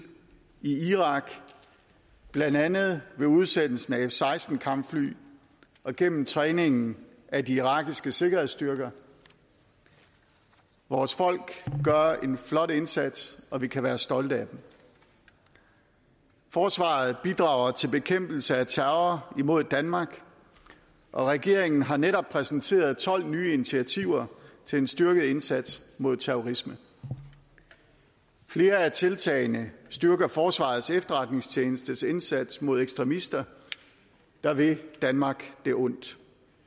i irak blandt andet med udsendelsen af f seksten kampfly og gennem træningen af de irakiske sikkerhedsstyrker vores folk gør en flot indsats og vi kan være stolte af dem forsvaret bidrager til bekæmpelse af terror imod danmark og regeringen har netop præsenteret tolv nye initiativer til en styrket indsats mod terrorisme flere af tiltagene styrker forsvarets efterretningstjenestes indsats mod ekstremister der vil danmark det ondt